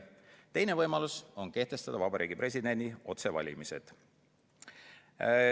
Teine võimalus on kehtestada Vabariigi Presidendi otsevalimised.